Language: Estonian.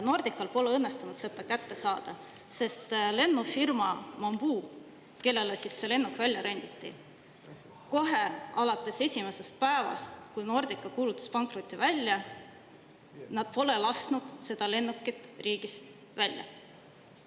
Nordical pole õnnestunud seda kätte saada, sest lennufirma Bamboo, kellele see lennuk renditi, kohe alates esimesest päevast, kui Nordica kuulutas pankroti välja, pole lasknud seda lennukit riigist.